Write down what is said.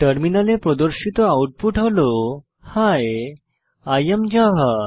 টার্মিনালে প্রদর্শিত আউটপুট হল হি I এএম জাভা